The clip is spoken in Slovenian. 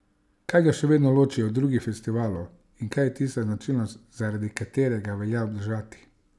Kaj ga še vedno loči od drugih festivalov in kaj je tista značilnost, zaradi katere ga velja obdržati?